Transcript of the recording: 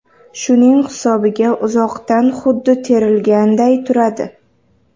Shuning hisobiga uzoqdan xuddi terilganday turadi.